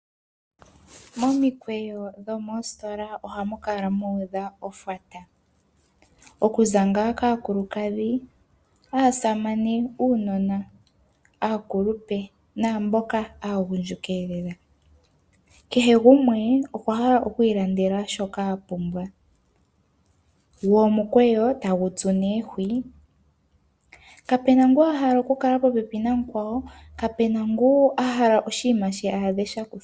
Momikweyo dhomoositola ohamu kala muudha ofwata. Okuza ngaa kaakulukadhi, aasamane , uunona , aakulupe naamboka aagundjuka. Kahe gumwe okwahala okwiilandela shoka apumbwa. Wo omukweyo tagu tsu nee hwii. Kapena ngu ahala okukala popepi na mukwawo, kapena ngu ahala aadhe oshinima shi ahala sha kuthwapo.